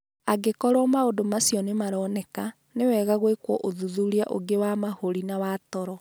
Angĩkorũo maũndũ macio nĩ maroneka, nĩ wega gwĩkwo ũthuthuria ũngĩ wa mahũri na wa toro.